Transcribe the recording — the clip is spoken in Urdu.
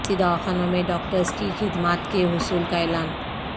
بستی دواخانوں میں ڈاکٹرس کی خدمات کے حصول کااعلان